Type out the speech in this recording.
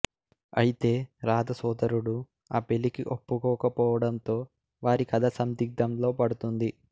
అయితే రాధ సోదరుడు ఆ పెళ్లికి ఒప్పుకోకపోవడంతో వారి కథ సందిగ్ధంలో పడుతుంది